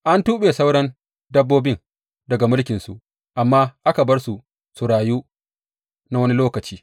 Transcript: An tuɓe sauran dabbobin daga mulkinsu, amma aka bar su su rayu na wani lokaci.